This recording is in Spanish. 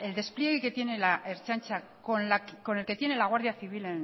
despliegue que tiene la ertzaintza con el que tiene la guardia civil